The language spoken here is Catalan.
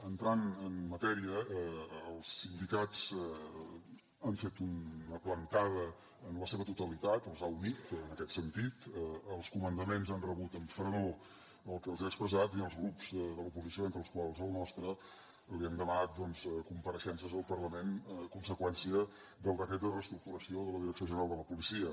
entrant en matèria els sindicats han fet una plantada en la seva totalitat els ha unit en aquest sentit els comandaments han rebut amb fredor el que els ha expressat i els grups de l’oposició entre els quals el nostre li hem demanat doncs compareixences al parlament conseqüència del decret de reestructuració de la direcció general de la policia